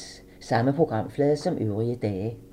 Samme programflade som øvrige dage